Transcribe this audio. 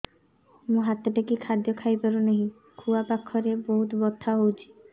ମୁ ହାତ ଟେକି ଖାଦ୍ୟ ଖାଇପାରୁନାହିଁ ଖୁଆ ପାଖରେ ବହୁତ ବଥା ହଉଚି